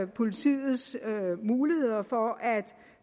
politiets muligheder for at